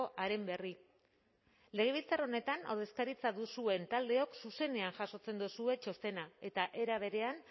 haren berri legebiltzar honetan ordezkaritza duzuen taldeok zuzenean jasotzen duzue txostena eta era berean